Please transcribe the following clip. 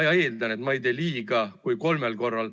Nüüd hakkab Reformierakonna esindajaid olema mitu.